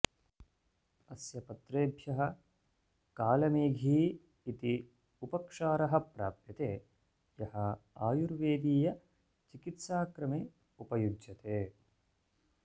अस्य पत्रेभ्यः कालमेघी इति उपक्षारः प्राप्यते यः आयुर्वेदीयचिकित्साक्रमे उपयुज्यते